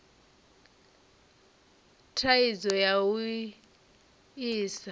na thaidzo ya u sa